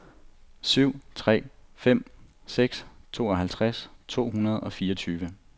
syv tre fem seks tooghalvtreds to hundrede og fireogtyve